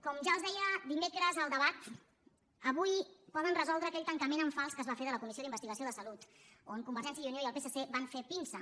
com ja els deia dimecres en el debat avui poden resoldre aquell tancament en fals que es va fer de la comissió d’investigació de salut on convergència i unió i el psc van fer pinça